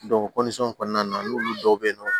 kɔnɔna na n'olu dɔw bɛ yen nɔ